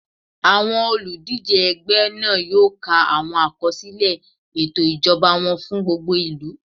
Àwọn olùdíjé ẹgbẹ́ náà yóò ka àwọn àkọsílẹ̀ ètò ìṣèjọba wọn fún gbogbo ìlú